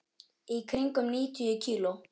Í kringum níutíu kíló.